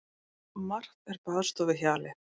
Margt er baðstofuhjalið.